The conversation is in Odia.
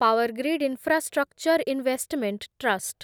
power grid infrastructure investment trust